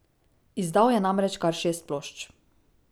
Izdal je namreč kar šest plošč.